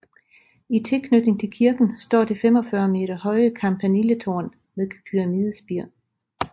I tilknytning til kirken står det 45 meter høje campaniletårn med pyramidespir